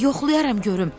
Yoxlayaram görüm.